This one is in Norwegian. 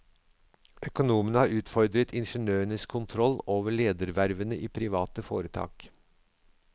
Økonomene har utfordret ingeniørenes kontroll over ledervervene i private foretak.